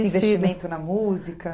investimento na música?